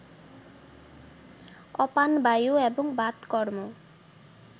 অপানবায়ু এবং বাতকর্ম